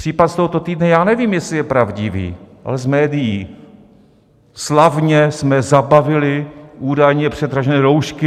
Případ z tohoto týdne - já nevím, jestli je pravdivý, ale z médií: slavně jsme zabavili údajně předražené roušky.